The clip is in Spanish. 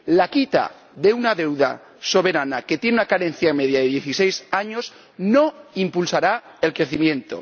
La quita de una deuda soberana que tiene una carencia media de dieciséis años no impulsará el crecimiento.